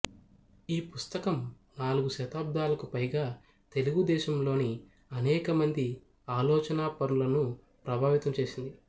ఈ పుస్తకం నాలుగు దశాబ్దాలకు పైగా తెలుగు దేశంలోని అనేకమంది ఆలోచనాపరులను ప్రభావితం చేసింది